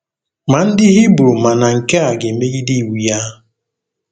Ma ndị Hibru ma na nke a ga-emegide iwu ya.